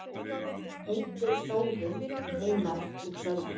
Hildur, Þórunn, Einar og Sölvi.